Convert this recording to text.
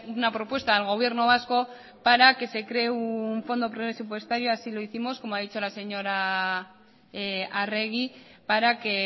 una propuesta al gobierno vasco para que se cree un fondo presupuestario así lo hicimos como ha dicho la señora arregui para que